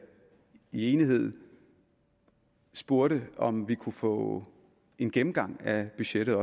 i enighed spurgte om vi kunne få en gennemgang af budgettet